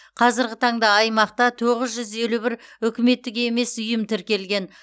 қазіргі таңда аймақта тоғыз жүз елу бір үкіметтік емес ұйым тіркелген